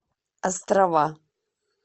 острова